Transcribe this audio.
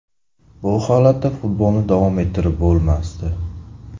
Bu holatda futbolni davom ettirib bo‘lmasdi.